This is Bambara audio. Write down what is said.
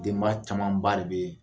Denba camanba de bɛ yen